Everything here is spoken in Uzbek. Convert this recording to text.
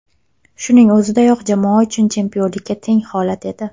Shuning o‘ziyoq jamoa uchun chempionlikka teng holat edi.